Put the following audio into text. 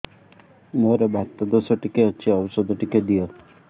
ମୋର୍ ବାତ ଦୋଷ ଟିକେ ଅଛି ଔଷଧ ଟିକେ ଦିଅ